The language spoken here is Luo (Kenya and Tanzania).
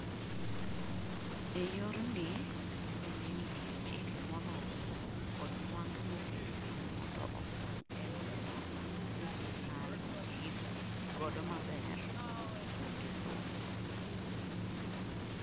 eyorni, bende nitie chike moromo kod mwandu moket piny mondo okony eneno ni AI oti godo maber kuonde somo